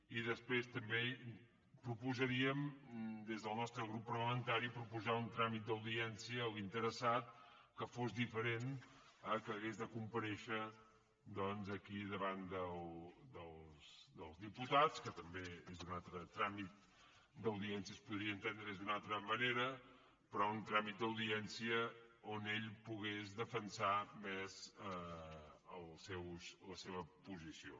i després també proposaríem des del nostre grup parlamentari un tràmit d’audiència a l’interessat que fos diferent del fet que hagués de comparèixer doncs aquí davant dels diputats que també és un altre tràmit d’audiència es podria entendre d’una altra manera però un tràmit d’audiència on ell pogués defensar més la seva posició